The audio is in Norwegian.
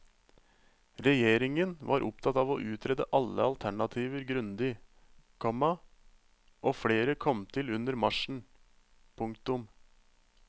Regjeringen var opptatt av å utrede alle alternativer grundig, komma og flere kom til under marsjen. punktum